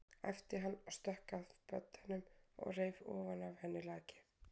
æpti hann og stökk að beddanum og reif ofan af henni lakið.